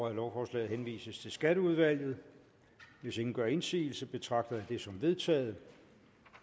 at lovforslaget henvises til skatteudvalget hvis ingen gør indsigelse betragter jeg det som vedtaget